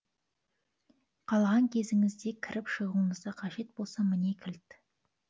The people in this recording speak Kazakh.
қалаған кезіңізде кіріп шығуыңызға қажет болсам міне кілт